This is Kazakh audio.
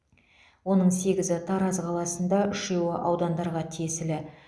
оның сегізі тараз қаласында үшеуі аудандарға тиесілі